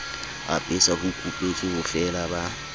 apesa ho kupetswe bofeela ba